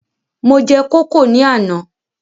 Mo jẹ kókò ní àná